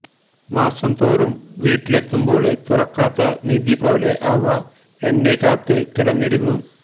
മാസം തോറും വീട്ടിലെത്തുമ്പോള് തുറക്കാത്ത നിധിപോലെ അവ എന്നെ കാത്ത് കിടന്നിരുന്നു